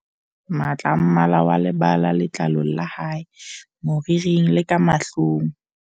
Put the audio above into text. Matla a mma la wa lebala letlalong la hae, moriring le ka mahlong.